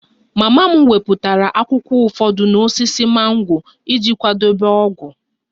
Mama m wepụtara akwụkwọ ụfọdụ n'osisi mango iji kwadebe ogwu